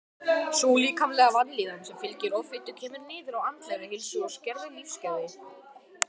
Sú líkamlega vanlíðan sem fylgir offitu kemur niður á andlegri heilsu og skerðir lífsgæði.